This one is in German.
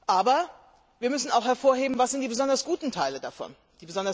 Aber wir müssen auch hervorheben, was die besonders guten Teile davon sind.